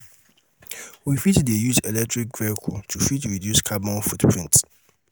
we fit dey use electric vehicle to fit reduce carbon footprint